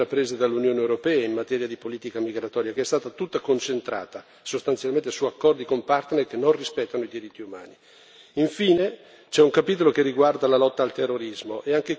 Ma sarebbe forse utile una riflessione critica delle azioni intraprese dall'Unione europea in materia di politica migratoria, che è stata tutta concentrata, sostanzialmente, su accordi con partner che non rispettano i diritti umani.